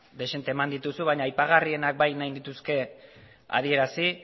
dezente eman dituzu baina aipagarrienak bai nahi nituzke adierazi